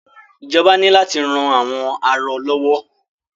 Ìjọba ní láti ran àwọn arọ lọ́wọ́.